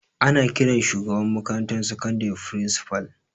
Ana ƙiran shugaban makarantar sakandare firisipal